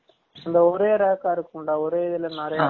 அந்த ஒரே rack ஆ இருக்கும்ல ஒரே இதுல நிரயா இருக்க மாரி